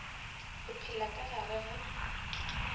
o phela ka gare ga